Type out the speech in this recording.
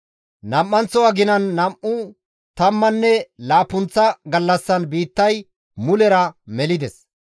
Nam7anththo aginan nam7u tammanne laappunththa gallassan biittay mulera melides.